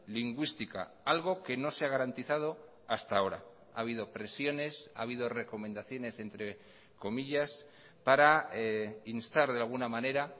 lingüística algo que no se ha garantizado hasta ahora ha habido presiones ha habido recomendaciones entre comillas para instar de alguna manera